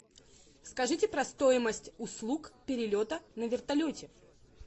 скажите про стоимость услуг перелета на вертолете